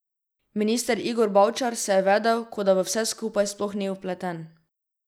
Minister Igor Bavčar se je vedel, kot da v vse skupaj sploh ni vpleten.